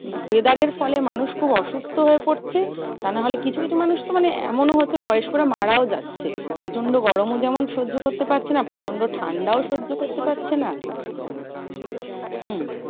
Weather এর ফলে মানুষ খুব অসুস্থ হয়ে পড়ছে। তা না হলে কিছু কিছু মানুষ তো মানে এমনও হয়েছে বয়স্করা মারাও যাচ্ছে। প্রচন্ড গরমও যেমন সহ্য করতে পারছে না। প্রচন্ড ঠান্ডাও সহ্য করতে পারছে না। হম